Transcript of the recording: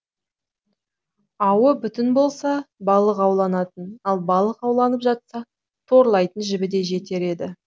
ауы бүтін болса балық ауланатын ал балық ауланып жатса торлайтын жібі де жетер еді